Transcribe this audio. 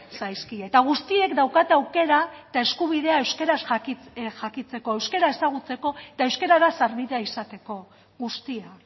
zaizkie eta guztiek daukate aukera eta eskubidea euskaraz jakiteko euskara ezagutzeko eta euskarara sarbidea izateko guztia